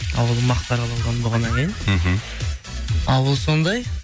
ауыл мақтаралы аудан болғаннан кейін мхм ауыл сондай